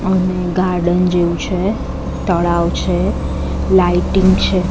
અને ગાર્ડન જેવુ છે તળાવ છે લાઈટીંગ છે.